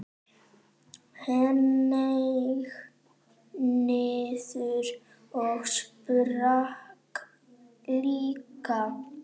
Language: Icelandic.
Hneig niður og sprakk líka.